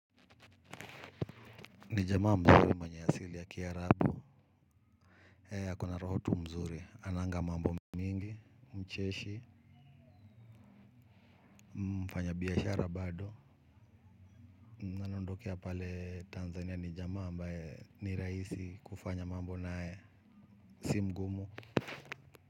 Nijamaa mzuri mwenye asili ya kia rabu e ako na roho tu mzuri ananga mambo mingi mcheshi. Mfanya biashara bado nanondokea pale Tanzania nijamaa ambae ni rahisi kufanya mambo naye si mgumu.